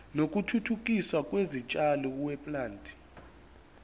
wokuthuthukiswa kwezitshalo weplant